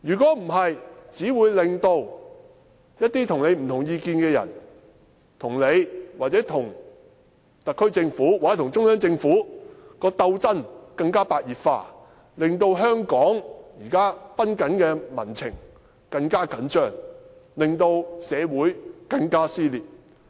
否則，只會令一些與他不同意見的人，與他、與特區政府或中央政府的鬥爭更為白熱化，令香港現時崩緊的民情更為緊張，令社會更為撕裂。